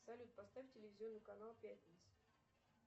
салют поставь телевизионный канал пятница